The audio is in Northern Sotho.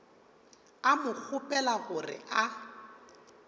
a mo kgopela gore a